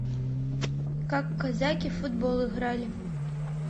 как казаки в футбол играли